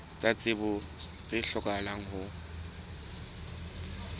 tsa tsebo tse hlokahalang ho